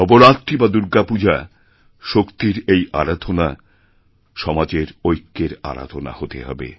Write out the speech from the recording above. নবরাত্রি বা দুর্গাপূজা শক্তিরএই আরাধনা সমাজের ঐক্যের আরাধনা হতে হবে